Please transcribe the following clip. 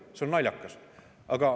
See on naljakas.